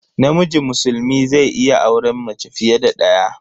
Namiji musulmi zai iya auren mace fiye da daya.